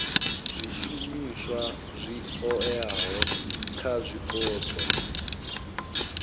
zwishumiswa zwi oeaho kha zwipotso